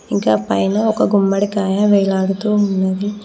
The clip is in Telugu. ఇంకా పైన ఒక గుమ్మడికాయ వేలాడుతూ ఉన్నది.